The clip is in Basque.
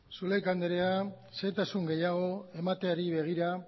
zulaika andrea xehetasun gehiago emateari begira